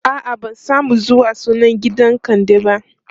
a'a ban samu zuwa sunan gidan kande ba